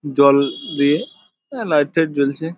জল দিয়ে আঁ লাইট টাইট জ্বলছে।